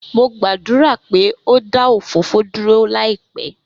Mo gbadura pe o da òfófó duro laipẹ.